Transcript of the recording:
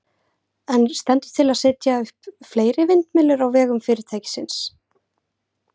En stendur til að setja upp fleiri vindmyllur á vegum fyrirtækisins?